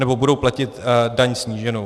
Nebo budou platit daň sníženou.